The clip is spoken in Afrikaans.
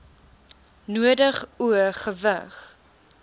nodig o gewig